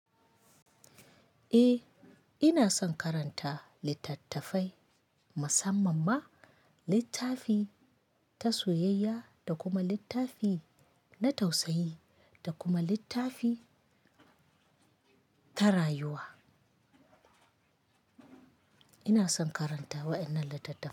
Eh, ina son karanta littattafai, musamman ma littafi ta soyayya da kuma littafi na tausayi da kuma littafi ta rayuwa. Ina son karanta waɗannan littattafai.